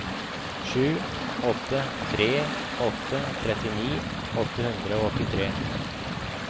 sju åtte tre åtte trettini åtte hundre og åttitre